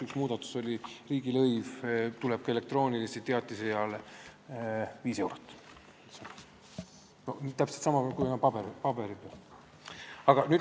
Üks muudatus oli see, et täpselt samamoodi kui paberteatise eest tuleb ka elektroonilise teatise eest maksta riigilõivu 5 eurot.